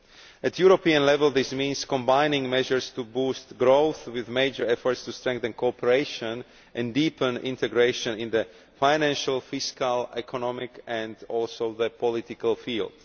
At European level, this means combining measures to boost growth with major efforts to strengthen cooperation and deepen integration in the financial, fiscal, economic and also the political field.